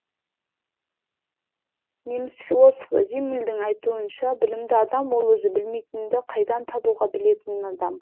неміс философы зиммельдің айтуынша білімді адам ол өзі білмейтінді қайдан табуға білетін адам